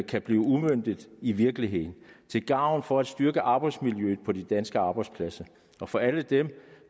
kan blive udmøntet i virkeligheden til gavn for at styrke arbejdsmiljøet på de danske arbejdspladser og for alle dem